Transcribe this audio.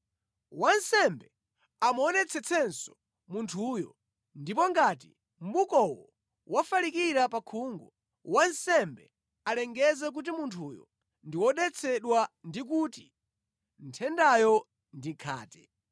Wansembe amuonetsetsenso munthuyo, ndipo ngati mʼbukowo wafalikira pa khungu, wansembe alengeze kuti munthuyo ndi wodetsedwa ndi kuti nthendayo ndi khate.